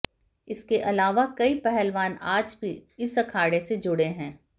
इसके अलावा कई पहलवान आज भी इस अखाड़े से जुड़े हैं